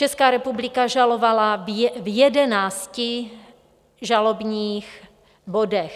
Česká republika žalovala v jedenácti žalobních bodech.